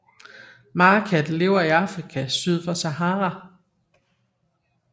Marekatte lever i Afrika syd for Sahara